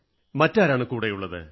മറ്റാരാണ് കൂടെയുള്ളത്